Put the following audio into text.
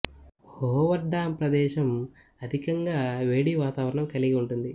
hover dam ప్రదేశం అధికంగా వేడి వాతావరణం కలిగి ఉంటుంది